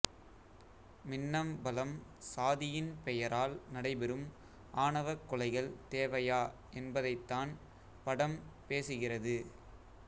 மின்னம்பலம் சாதியின் பெயரால் நடைபெறும் ஆணவக் கொலைகள் தேவையா என்பதைத்தான் படம் பேசுகிறது